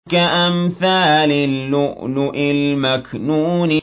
كَأَمْثَالِ اللُّؤْلُؤِ الْمَكْنُونِ